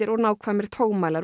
og nákvæmir